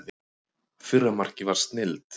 Fyrra markið var snilld.